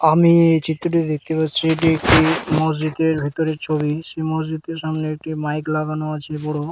আমি এই চিত্রটিতে দেখতে পাচ্ছি এটি একটি মসজিদের ভিতরের ছবি সেই মসজিদের সামনে একটি মাইক লাগানো আছে বড়ো ।